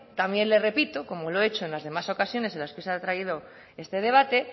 también les repito como lo he hecho en las demás ocasiones en las que se ha traído este debate